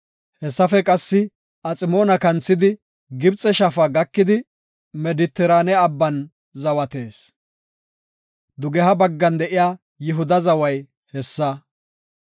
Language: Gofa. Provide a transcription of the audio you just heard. Hessafe qassi Aximoona kanthidi, Gibxe shaafa gakidi, Medetiraane Abban zawatees. Dugeha baggan de7iya Yihuda zaway hessa.